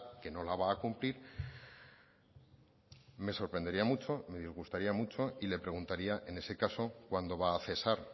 que no la va a cumplir me sorprendería mucho me disgustaría mucho y le preguntaría en ese caso cuándo va a cesar